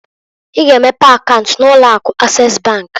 I ga emepe akaunt na ụlọ Akụ Ases bankǃ